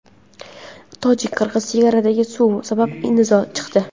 Tojik-qirg‘iz chegarasida suv sabab nizo chiqdi.